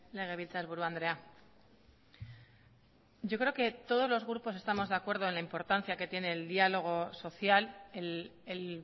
legebiltzarburu andrea yo creo que todos los grupos estamos de acuerdo en la importancia que tiene el diálogo social el